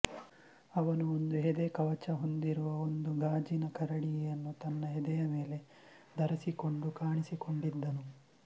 ಅವನು ಒಂದು ಎದೆ ಕವಚ ಹೊಂದಿರುವ ಒಂದು ಗಾಜಿನ ಕರಡಿಗೆಯನ್ನು ತನ್ನ ಎದೆಯ ಮೇಲೆ ಧರಿಸಿಕೊಂಡು ಕಾಣಿಸಿಕೊಂಡಿದ್ದನು